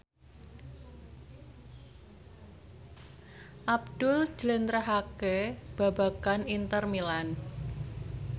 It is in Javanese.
Abdul njlentrehake babagan Inter Milan